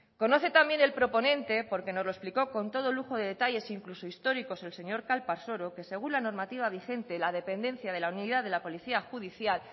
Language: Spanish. conoce también el proponente porque no los explicó con todo lujo de detalles incluso histórico el señor calparsoro que según la normativa vigente la dependencia de la unidad de la policía judicial